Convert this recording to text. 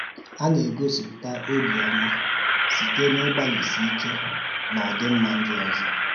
Á na-egosípūtà òbíọ́má sịtè n’ị̀gbálị́sị ìké n’ọ̀dị̀mmá ndị ọzọ̀